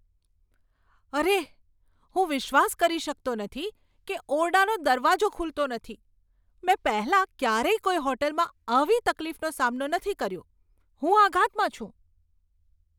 અરે, હું વિશ્વાસ કરી શકતો નથી કે ઓરડાનો દરવાજો ખૂલતો નથી! મેં પહેલાં ક્યારેય કોઈ હોટલમાં આવી તકલીફનો સામનો નથી કર્યો. હું આઘાતમાં છું!